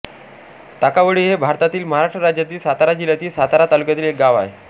ताकावळी हे भारतातील महाराष्ट्र राज्यातील सातारा जिल्ह्यातील सातारा तालुक्यातील एक गाव आहे